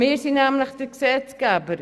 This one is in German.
Denn wir sind nämlich der Gesetzgeber.